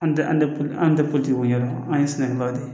An tɛ an tɛ an tɛ politiw ɲɛ an ye sɛnɛkɛlaw de